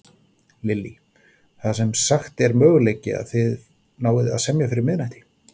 Lillý: Það sem sagt er möguleiki að þið náið að semja fyrir miðnætti?